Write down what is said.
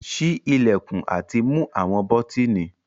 Ṣii ilẹkun ati mu awọn bọtini